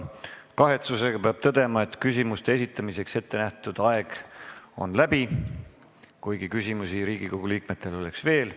Aga kahetsusega peab tõdema, et küsimuste esitamiseks ettenähtud aeg on läbi, kuigi küsimusi Riigikogu liikmetel oleks veel.